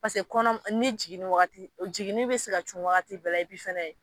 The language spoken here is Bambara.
Paseke kɔnɔ ni jiginni wagati jiginni be se ka cun wagati bɛɛ la epi fɛnɛ